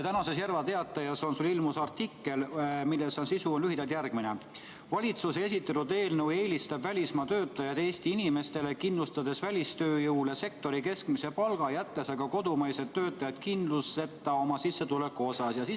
Tänases Järva Teatajas ilmus sul artikkel, mille sisu on lühidalt järgmine: valitsuse esitatud eelnõu eelistab välismaa töötajaid Eesti inimestele, kindlustades välistööjõule sektori keskmise palga, jättes aga kodumaised töötajad kindluseta oma sissetuleku asjus.